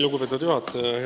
Lugupeetud juhataja!